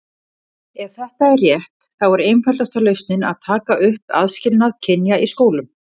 Ef þetta er rétt, þá er einfaldasta lausnin að taka upp aðskilnað kynja í skólum.